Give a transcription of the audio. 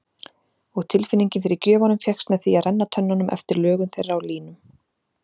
Og tilfinningin fyrir gjöfunum fékkst með því að renna tönnunum eftir lögun þeirra og línum.